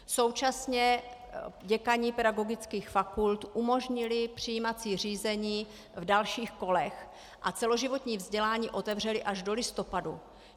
Současně děkani pedagogických fakult umožnili přijímací řízení v dalších kolech a celoživotní vzdělání otevřeli až do listopadu.